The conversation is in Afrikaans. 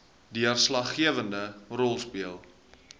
deurslaggewende rol speel